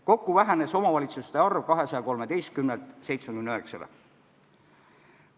Kokku vähenes omavalitsuste arv 213-lt 79-le.